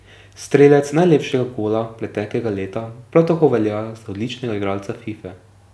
Strelec najlepšega gola preteklega leta prav tako velja za odličnega igralca Fife.